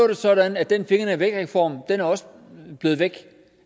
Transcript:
det sådan at den fingrene væk reform også er blevet væk